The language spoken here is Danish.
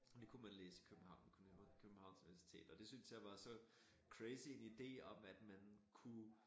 Og det kunne man læse i København kunne på Københvans Universitet og det synes jeg var så crazy en idé om at man kunne